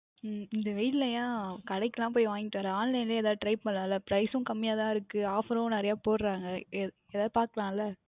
உம் இந்த வெயிலில் ஏன் கடைக்கு எல்லாம் சென்று வாங்கிவிட்டு வருகிறாய் Online லயே எதாவுது Try பண்ணலாம் ல Price உம் கம்மியாக தான் இருக்கின்றது Offer உம் நிறைய போடுகிறார்கள் எதாவுது பார்க்கலாம் ல